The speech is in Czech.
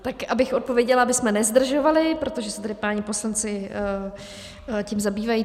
Tak abych odpověděla, abychom nezdržovali, protože se tady páni poslanci tím zabývají.